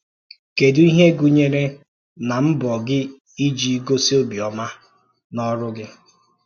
Kèdù ihe gụnyere na mbọ̀ gị iji gosi ọ̀bịọ́mà n’ọrụ gị?